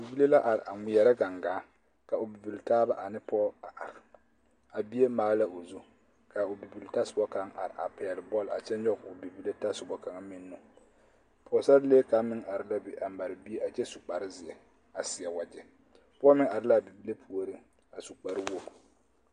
Bibile la are a ŋmeɛrɛ gangaa ka o bibiltaaba ane pɔge a are a bie maale la o zu ka a o bibiltasoba kaŋ are a pɛgle bɔle a kyɛ nyɔge o bibile tasoba kaŋ meŋ nu pɔgesarelee kaŋ meŋ are la be a mare bie a kyɛ su kparezeɛ a seɛ wagyɛ pɔge meŋ are la a bibile puoriŋ a su kparewogi.